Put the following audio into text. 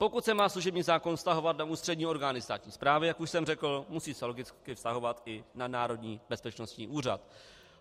Pokud se má služební zákon vztahovat na ústřední orgány státní správy, jak už jsem řekl, musí se logicky vztahovat i na Národní bezpečnostní úřad.